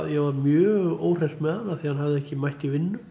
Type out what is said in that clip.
ég var mjög óhress með hann því hann hafði ekki mætt í vinnu